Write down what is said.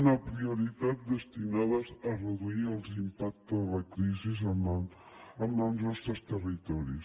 una prioritat destinades a reduir l’impacte de la crisi en els nostres territoris